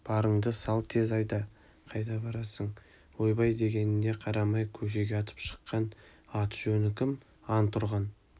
барыңды сал тез айда қайда барасың ойбай дегеніне қарамай көшеге атып шыққан аты-жөні кім антұрған